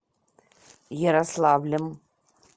ярославлем